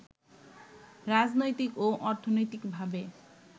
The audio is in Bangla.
রাজনৈতিক ও অর্থনৈতিকভাবে